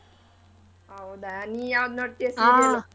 ಹೌದಾ.ನಿನ್ ಯಾವ್ದ್ ನೋಡ್ತೀಯ .